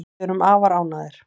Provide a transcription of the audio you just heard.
Við erum afar ánægðir